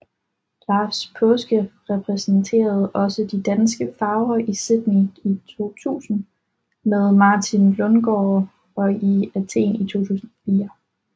Lars Paaske repræsenterede også de danske farver i Sydney 2000 med Martin Lundgaard og i Athen 2004